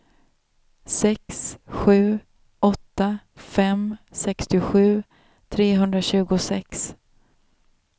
sex sju åtta fem sextiosju trehundratjugosex